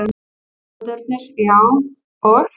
Aðdáendurnir, já, og?